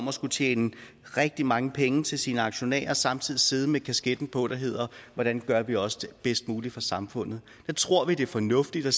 at skulle tjene rigtig mange penge til sine aktionærer og samtidig at sidde med kasketten på der hedder hvordan gør vi også det bedst mulige for samfundet der tror vi det er fornuftigt at